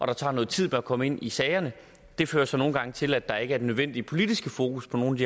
det tager noget tid at komme ind i sagerne det fører så nogle gange til at der ikke er den nødvendige politiske fokus på nogle af